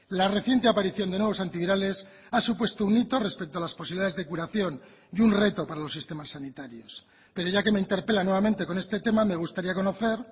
la reciente aparición de nuevos antivirales ha supuesto un hito respecto a las posibilidades de curación y un reto para los sistemas sanitarios pero ya que me interpela nuevamente con este tema me gustaría conocer